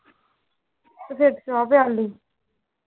ਤੇ ਫੇਰ ਚਾਹ ਪਿਆਈ